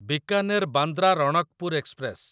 Bikaner Bandra Ranakpur express